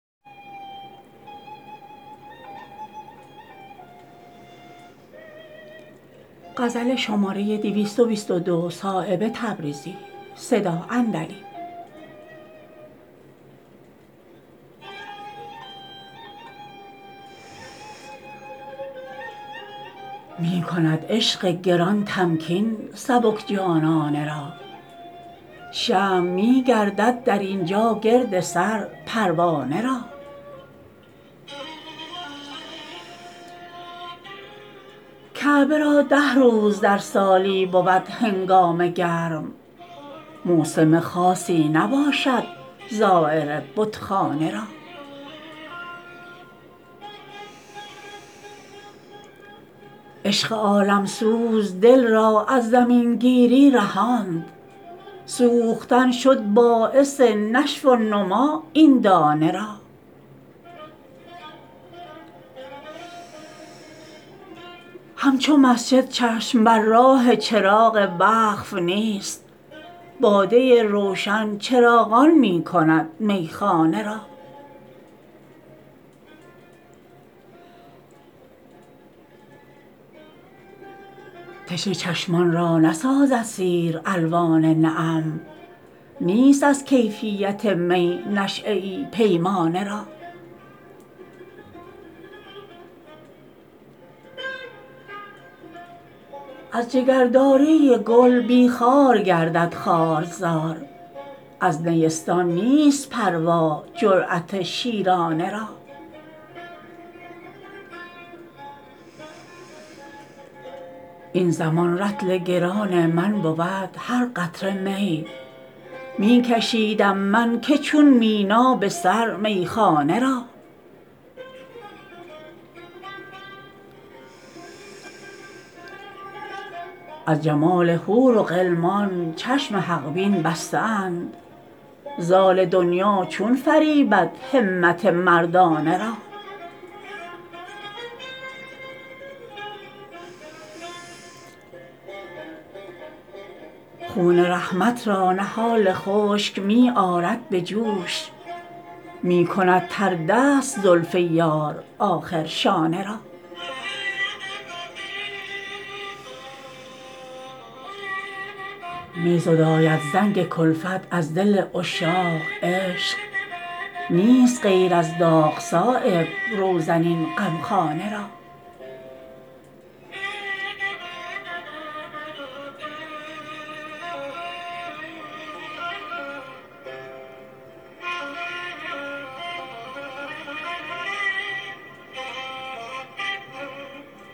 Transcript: می کند عشق گران تمکین سبک جانانه را شمع می گردد در اینجا گرد سر پروانه را کعبه را ده روز در سالی بود هنگامه گرم موسم خاصی نباشد زایر بتخانه را عشق عالم سوز دل را از زمین گیری رهاند سوختن شد باعث نشو و نما این دانه را همچو مسجد چشم بر راه چراغ وقف نیست باده روشن چراغان می کند میخانه را تشنه چشمان را نسازد سیر الوان نعم نیست از کیفیت می نشیه ای پیمانه را از جگرداری گل بی خار گردد خارزار از نیستان نیست پروا جریت شیرانه را این زمان رطل گران من بود هر قطره می می کشیدم من که چون مینا به سر میخانه را از جمال حور و غلمان چشم حق بین بسته اند زال دنیا چون فریبد همت مردانه را خون رحمت را نهال خشک می آرد به جوش می کند تر دست زلف یار آخر شانه را می زداید زنگ کلفت از دل عشاق عشق نیست غیر از داغ صایب روزن این غمخانه را